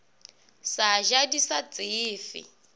sa ja di sa tsefe